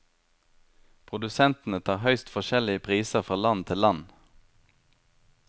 Produsentene tar høyst forskjellige priser fra land til land.